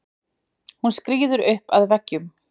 Hún skríður upp að veggnum.